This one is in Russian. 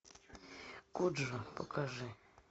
коджа покажи